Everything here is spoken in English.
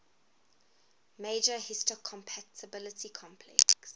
major histocompatibility complex